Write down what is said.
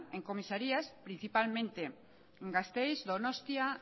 en comisarías principalmente en gasteiz donostia